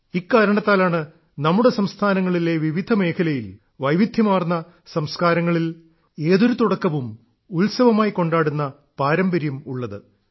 ഇക്കാരണത്താലാണ് നമ്മുടെ സംസ്ഥാനങ്ങളിലെ വിവിധ മേഖലയിൽ വൈവിദ്ധ്യമാർന്ന സംസ്കാരങ്ങളിൽ ഏതൊരു തുടക്കവും ഉത്സവമായി കൊണ്ടാടുന്ന പാരമ്പര്യം ഉള്ളത്